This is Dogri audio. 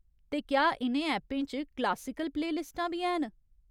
ते क्या इ'नें ऐपें च क्लासिकल प्ले लिस्टां बी हैन ?